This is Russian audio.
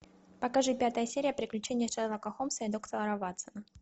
покажи пятая серия приключения шерлока холмса и доктора ватсона